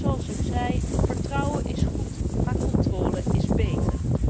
Want zoals ik zei, vertrouwen is goed, maar controle is beter.